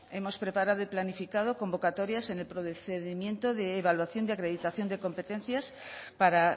hemos preparado y planificado convocatorias en el procedimiento de evaluación y acreditación de competencias para